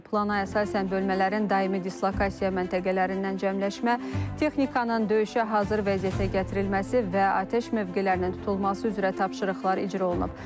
Plana əsasən bölmələrin daimi dislokasiya məntəqələrindən cəmləşmə, texnikanın döyüşə hazır vəziyyətə gətirilməsi və atəş mövqelərinin tutulması üzrə tapşırıqlar icra olunub.